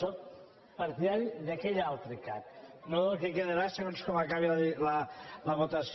sóc partidari d’aquell altre cac no del que quedarà segons com acabi la votació